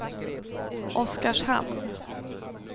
Oskarshamn